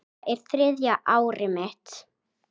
Þetta er þriðja árið mitt.